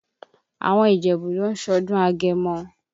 Àwọn Ìjẹ̀bú ló ń ṣọdún agẹmọ.